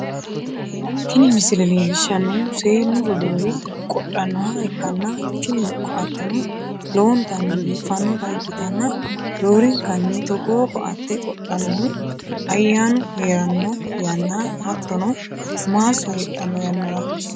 Tini misile leellishshannohu seennu roduuwi qodhannoha ikkanna, tini ko"atteno lowontanni biiffannota ikkitanna, roorenkanni togoo ko'atte qodhinannihu ayyaanu hee'ranno yanna, hattono maasso heedhanno yannara.